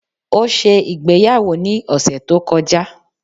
O ṣé ìgbéyàwó ní ọ̀sẹ̀ to kọjá